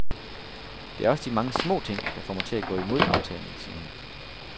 Det er også de mange små ting, der får mig til at gå imod aftalen, siger hun.